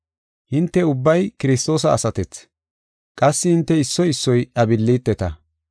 Hinte ubbay Kiristoosa asatethi; qassi hinte issoy issoy iya billiteta.